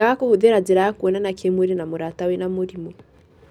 Ũngĩaga kũhũthira jira ya kwonana kĩmwĩrĩ na mũrata wĩna mũrimũ.